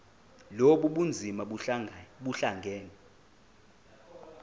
lobu bunzima buhlangane